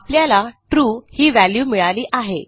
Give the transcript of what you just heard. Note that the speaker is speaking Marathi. आपल्याला ट्रू ही व्हॅल्यू मिळाली आहे